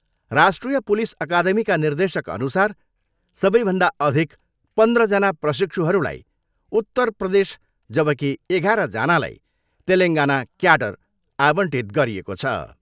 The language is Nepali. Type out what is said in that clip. राष्ट्रिय पुलिस अकादमीका निर्देशकअनुसार सबैभन्दा अधिक पन्ध्रजना प्रशिक्षुहरूलाई उत्तर प्रदेश जबकि एघाह्रजनालाई तेलेङ्गाना क्याडर आवन्टित गरिएको छ।